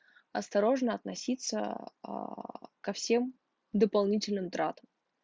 осторожно относиться аа ко всем дополнительным тратам